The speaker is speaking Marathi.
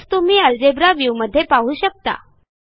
हेच तुम्ही अल्जेब्रा व्ह्यू मध्ये पाहू शकता